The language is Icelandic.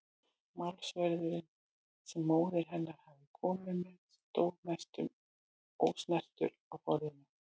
Málsverðurinn sem móðir hennar hafði komið með stóð næstum ósnertur á borðinu.